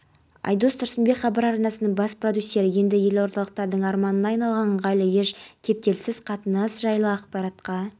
нұрсұлтан назарбаев түрік республикасының бұрынғы президентінің екіжақты байланыстардың нығаюына зор үлес қосқанын атап өтіп оның қазақстан халқына деген құрметі үшін ризашылық